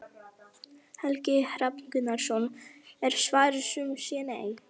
Helgi Hrafn Gunnarsson: Er svarið sum sé nei?